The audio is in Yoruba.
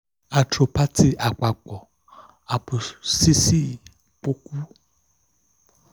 athropathy apapọ apophyseal pọọku wa ṣugbọn ko si ipa-ọpa ẹhin aifọwọyi pataki tabi stenosis foraminal